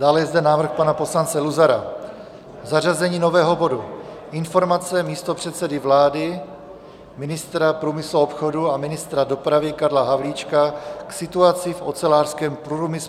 Dále je zde návrh pana poslance Luzara, zařazení nového bodu Informace místopředsedy vlády, ministra průmyslu a obchodu a ministra dopravy Karla Havlíčka k situaci v ocelářském průmyslu.